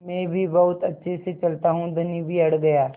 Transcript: मैं भी बहुत अच्छे से चलता हूँ धनी भी अड़ गया